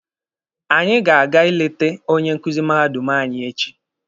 Anyị ga-aga ịlete onye nkuzi mahadum anyị echi.